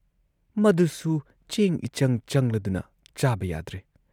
ꯃꯗꯨꯁꯨ ꯆꯦꯡ ꯏꯆꯪ ꯆꯪꯂꯗꯨꯅ ꯆꯥꯕ ꯌꯥꯗ꯭ꯔꯦ ꯫